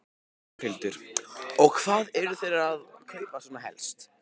Þórhildur: Og hvað eru þeir að kaupa svona helst?